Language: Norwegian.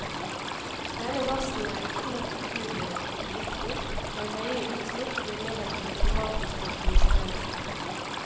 Denne gassen er riktignok naturlig og ikke giftig, men høye utslipp gir negative klimatiske konsekvenser.